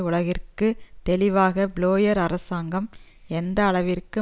உலகிற்கு தெளிவாக பிளேயர் அரசாங்கம் எந்த அளவிற்கு